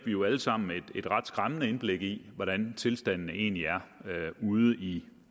jo alle sammen et ret skræmmende indblik i hvordan tilstanden egentlig er ude i